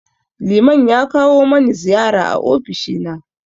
Liman ya kawo mani ziyara a ofishi na.